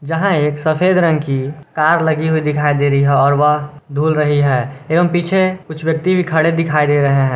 जहां एक सफेद रंग की कार लगी हुई दिखाई दे रही है और वह धूल रही है एवं पीछे कुछ व्यक्ति भी खड़े दिखाई दे रहे हैं।